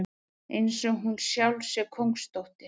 Einsog hún sjálf sé kóngsdóttir.